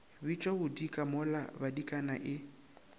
bitšwa bodika mola badikana e